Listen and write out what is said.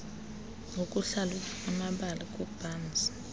ukuhlalutya amabali kaburns